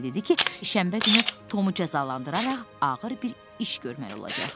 Dedi ki, şənbə günü Tomu cəzalandıraraq ağır bir iş görmək olacaq.